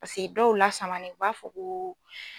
Paseke dɔw lasamani u b'a fɔ ko